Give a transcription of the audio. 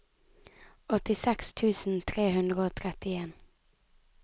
åttiseks tusen tre hundre og trettien